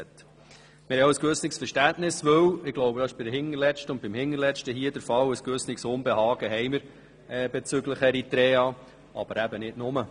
Wir haben auch ein gewisses Verständnis, weil wir ein gewisses Unbehagen bezüglich Eritrea haben – dies dürfte beim Hinterletzten und bei der Hinterletzten der Fall sein –, aber nicht nur.